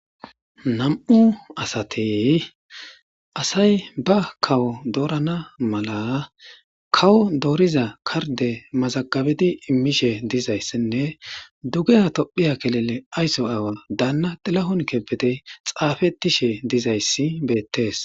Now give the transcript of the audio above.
Nam'u asate asay ba kawo doorana mala kawo dooriza karde mazaqabedi immishe dizayssinne dugeya tophiya kelele aysso aawa daanna dilahon kepete xaafetishe dizayssi beettes.